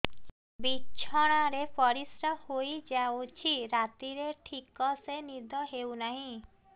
ବିଛଣା ରେ ପରିଶ୍ରା ହେଇ ଯାଉଛି ରାତିରେ ଠିକ ସେ ନିଦ ହେଉନାହିଁ